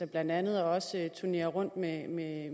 blandt andet også vores turnerer rundt med